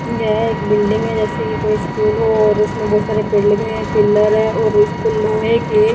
यह एक बिल्डिंग है जैसे की कोई स्कूल हो और उसमें बहुत सारे पेड़ लगे हैं पिलर है और उसको लोहे के --